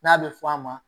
N'a bɛ fɔ a ma